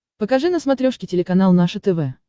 покажи на смотрешке телеканал наше тв